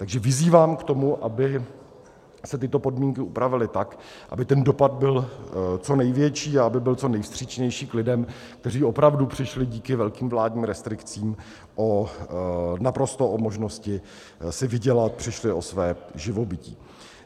Takže vyzývám k tomu, aby se tyto podmínky upravily tak, aby ten dopad byl co největší a aby byl co nejvstřícnější k lidem, kteří opravdu přišli díky velkým vládním restrikcím naprosto o možnosti si vydělat, přišli o své živobytí.